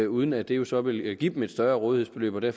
uden at det jo så vil give dem et større rådighedsbeløb og det